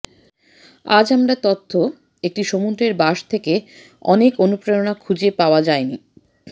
আজ আমরা তথ্য একটি সমুদ্রের বাস যে থেকে অনেক অনুপ্রেরণা খুঁজে পাওয়া যায় নি